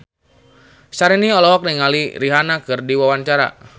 Syahrini olohok ningali Rihanna keur diwawancara